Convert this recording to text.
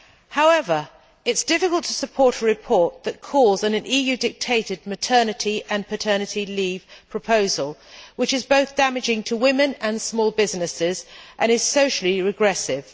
However, it is difficult to support a report that calls for an EU dictated maternity and paternity leave proposal, which is both damaging to women and small businesses and is socially regressive.